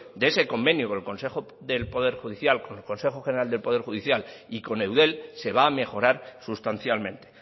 de ese convenio con el consejo general de poder judicial y con eudel se va a mejorar sustancialmente